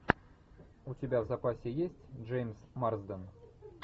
у тебя в запасе есть джеймс марсден